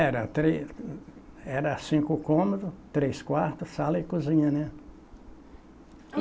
Era tre, era cinco cômodos, três quartos, sala e cozinha, né?